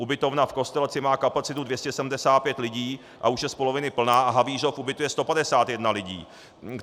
Ubytovna v Kostelci má kapacitu 275 lidí a už je z poloviny plná a Havířov ubytuje 151 lidí.